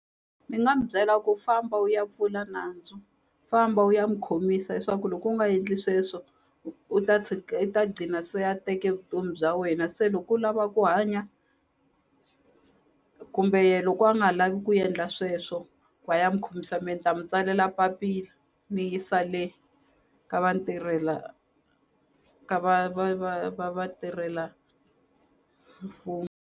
Ni nga mu byela ku famba u ya pfula nandzu famba u ya n'wi khomisa hi swa ku loko u nga endli sweswo u ta tshika i ta gcina se a teke vutomi bya wena se loko u lava ku hanya kumbe ye loko a nga lavi ku endla sweswo va ya mu khomisa me ni ta mu tsalela papila ni yisa le ka vatirhela ka va va va va va tirhela .